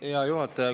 Hea juhataja!